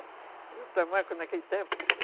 Do tamanco naquele tempo?